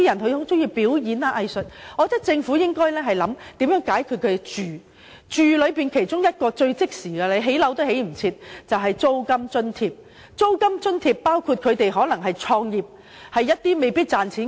對於這類人士，政府應考慮如何解決他們的居住問題，其中一項最即時的措施就是提供租金津貼，因為即使立即建屋也未必來得及。